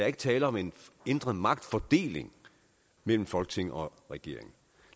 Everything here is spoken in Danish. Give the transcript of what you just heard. ikke tale om en ændret magtfordeling mellem folketinget og regeringen